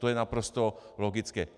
To je naprosto logické.